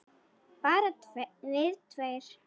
Bara við tveir?